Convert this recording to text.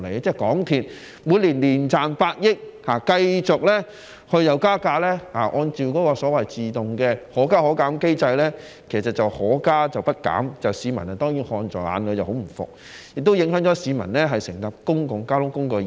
香港鐵路有限公司每年賺百億元，但又繼續按照所謂的"可加可減機制"自動加價，該機制只是可加，卻不減，市民看在眼裏當然十分不服氣，亦影響市民乘搭公共交通工具的意欲。